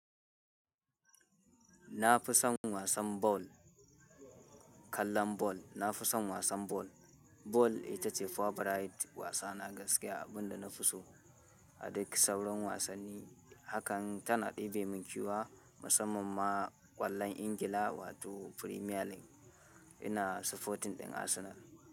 Na fi son wasan bal, kallon bal. Na fi son wasan bal. Bal ita ce favorite wasa na gaskiya, abin da na fi so. Aduk sauran wasanni hakan ta na ɗebe min ƙyewa, musamman ma ƙwallon Ingila wato Premier League. Ina supporting ɗin Arsenal.